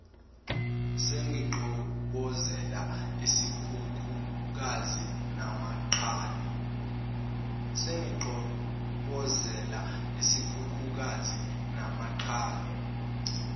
sengiqhobozela isikhukhukazi namachwane